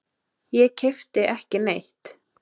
Ég keypti ekki neitt.